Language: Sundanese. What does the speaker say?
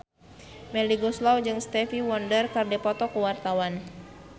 Melly Goeslaw jeung Stevie Wonder keur dipoto ku wartawan